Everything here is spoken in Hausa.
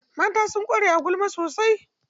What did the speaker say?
Mata sun ƙware a gulma sosai.